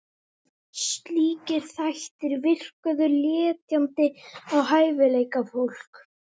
Slíkir þættir virkuðu letjandi á hæfileikafólk